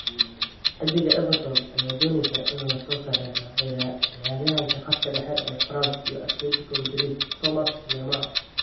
(Xidiga) Everton ayaa dooneysa inay lasoo saxiixato ciyaaryahanka khadka dhexe ee France iyo Atletico Madrid Thomas Lemar.